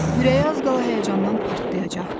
Ürəyi az qala həyəcandan partlayacaqdı.